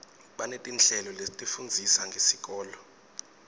banetinhlelo letifundzisa ngesikolo